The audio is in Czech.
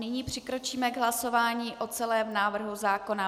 Nyní přikročíme k hlasování o celém návrhu zákona.